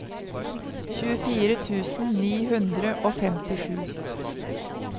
tjuefire tusen ni hundre og femtisju